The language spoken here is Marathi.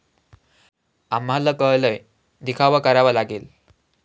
आम्हाला कळलंय, दिखावा करावा लागेल